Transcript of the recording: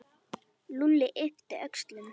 Lúlli yppti öxlum.